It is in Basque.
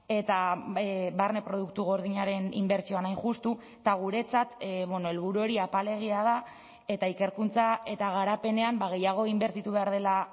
eta barne produktu gordinaren inbertsioan hain justu eta guretzat helburu hori apalegia da eta ikerkuntza eta garapenean gehiago inbertitu behar dela